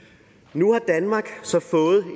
nu har danmark så fået